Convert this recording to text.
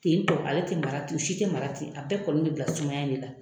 Ten Tɔ, ale te mara ten , u si te mara ten a bɛɛ kɔni be bila sumaya de la.